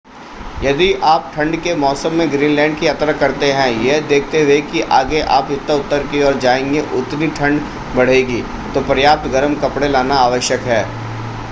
यदि आप ठंड के मौसम में ग्रीनलैंड की यात्रा करते हैं यह देखते हुए कि आगे आप जितना उत्तर की ओर जाएँगे उतनी ठंड बढ़ेगी तो पर्याप्त गर्म कपड़े लाना आवश्यक है।